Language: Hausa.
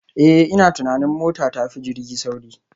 Eh ina tunanin mota tafi jirgi sauri